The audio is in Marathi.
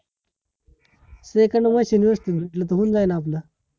SECOND च machine वस्तू भेटलं तर होऊन जाईल आपलं